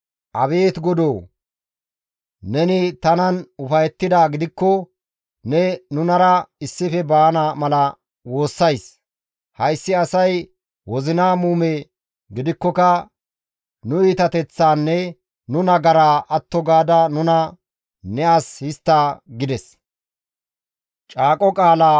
«Abeet Godoo! Neni tanan ufayettidaa gidikko ne nunara issife baana mala ta nena woossays. Hayssi asay wozina muume gidikkoka nu iitateththaanne nu nagaraa atto gaada nuna ne as histta» gides.